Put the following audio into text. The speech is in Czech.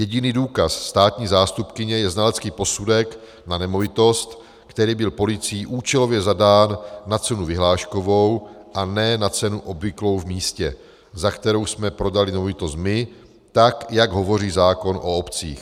Jediný důkaz státní zástupkyně je znalecký posudek na nemovitost, který byl policií účelově zadán na cenu vyhláškovou a ne na cenu obvyklou v místě, za kterou jsme prodali nemovitost my, tak jak hovoří zákon o obcích.